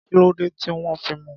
Kí ló dé tí wọ́n mú un?